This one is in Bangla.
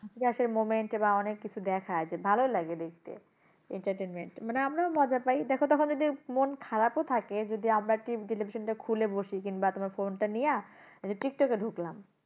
এর moment বা অনেক কিছু দেখায় যে ভালো লাগে দেখতে। entertainment মানে আমরাও মজা পাই দেখ তাহলে যে মন খারাপ ও থাকে যদি আমরা কি television টা খুলে বসি কিংবা তোমার phone টা নিয়া এই যে টিকটক থেকে ঢুকলাম।